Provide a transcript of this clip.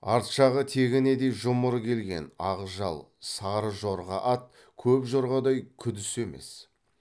арт жағы тегенедей жұмыр келген ақ жал сары жорға ат көп жорғадай күдіс емес